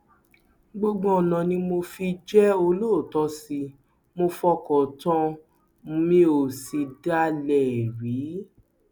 gbogbo ọnà ni mo fi jẹ olóòótọ sí i mo fọkàn tán an mi ò sì dalẹ ẹ rí